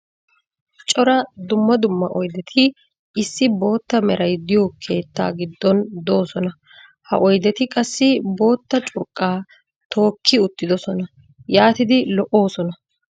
cora dumma dumma oydeti issi bootta meray diyo keettaa giddon doosona. ha oydetti qassi bootta curqaa tookki uttidosona. yaatidi lo'oosona.